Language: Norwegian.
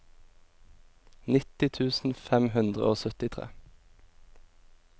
nitti tusen fem hundre og syttitre